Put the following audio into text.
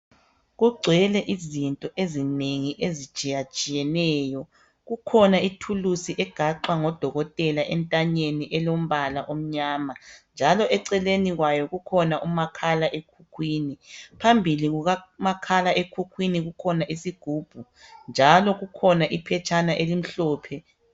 Kugcwele izinto ezinengi ezitshiyatshiyeneyo . Kukhona ithulusi egaxwa ngodokotela entanyeni elombala omnyama njalo eceleni kwayo kukhona umakhala ekhukhwini. Phambili kukamakhala ekhukhwini kukhona isigubhu njalo kukhona iphetshana elimhlophe.